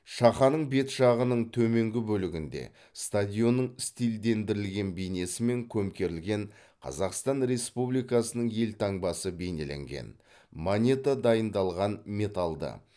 шақаның бет жағының төменгі бөлігінде стадионның стильдендірілген бейнесімен көмкерілген қазақстан республикасының елтаңбасы бейнеленген монета дайындалған металды